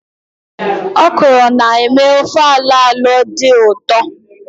Òkòrō na-eme ofe alo-alo dị ụtọ.